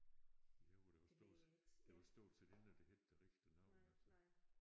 I Højer der var stor der var stort set ingen der hed det rigtige navn altså